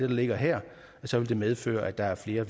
ligger her så vil det medføre at der er flere